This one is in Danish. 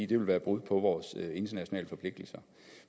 det vil være brud på vores internationale forpligtelser